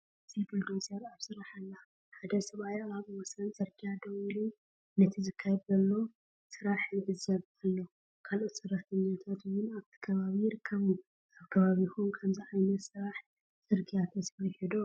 ኣብዚ ቡልዶዘር ኣብ ስራሕ ኣላ። ሓደ ሰብኣይ ኣብ ወሰን ጽርግያ ደው ኢሉ ነቲ ዝካየድ ዘሎ ስራሕ ይዕዘብ ኣሎ። ካልኦት ሰራሕተኛታት እውን ኣብቲ ከባቢ ይርከቡ። ኣብ ከባቢኹም ከምዚ ዓይነት ስራሕ ጽርግያ ተሰሪሑ ዶ?